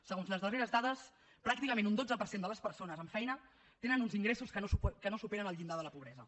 segons les darreres dades pràcticament un dotze per cent de les persones amb feina tenen un ingressos que no superen el llindar de la pobresa